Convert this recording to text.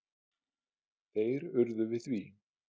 Þeir urðu við því.